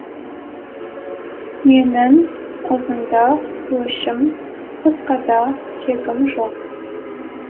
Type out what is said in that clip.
менің ұзында өшім қысқада кегім жоқ